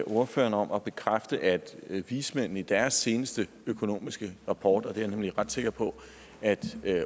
ordføreren om at bekræfte at vismændene i deres seneste økonomiske rapport det er jeg nemlig ret sikker på at